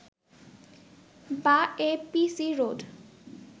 বা A P C road